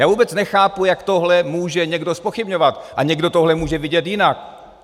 Já vůbec nechápu, jak tohle může někdo zpochybňovat a někdo tohle může vidět jinak.